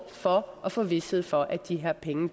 for at få vished for at de her penge